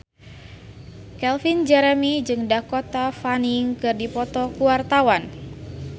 Calvin Jeremy jeung Dakota Fanning keur dipoto ku wartawan